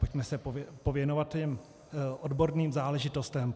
Pojďme se pověnovat těm odborným záležitostem.